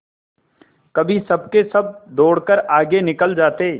कभी सबके सब दौड़कर आगे निकल जाते